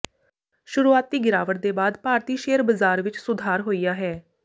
ਸ਼ੁਰੂਆਤੀ ਗਿਰਾਵਟ ਦੇ ਬਾਅਦ ਭਾਰਤੀ ਸ਼ੇਅਰ ਬਜ਼ਾਰ ਵਿਚ ਸੁਧਾਰ ਹੋਇਆ ਹੈ